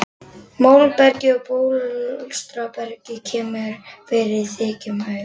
Móbergið og bólstrabergið kemur fyrir í þykkum haugum.